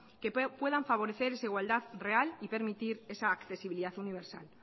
que puedan favorecer esa igualdad real y permitir esa accesibilidad universal